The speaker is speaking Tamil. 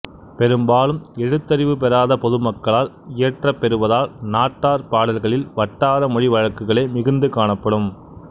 பெரும்பாலும் எழுத்தறிவு பெறாத பொதுமக்களால் இயற்றப்பெறுவதால் நாட்டார் பாடல்களில் வட்டார மொழி வழக்குகளே மிகுந்து காணப்படும்